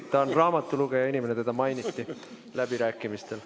Ta on raamatulugeja inimene, teda mainiti läbirääkimistel.